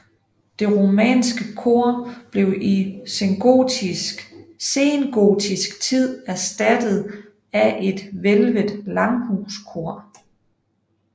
Det romanske kor blev i sengotisk tid erstattet af et hvælvet langhuskor